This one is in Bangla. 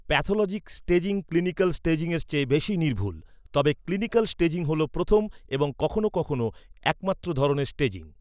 প্যাথলজিক স্টেজিং ক্লিনিকাল স্টেজিংয়ের চেয়ে বেশি নির্ভুল, তবে ক্লিনিকাল স্টেজিং হল প্রথম এবং কখনও কখনও একমাত্র ধরনের স্টেজিং।